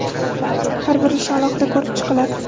Har bir ish alohida ko‘rib chiqiladi.